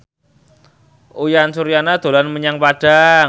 Uyan Suryana dolan menyang Padang